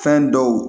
Fɛn dɔw